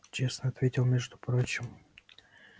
честно ответил между прочим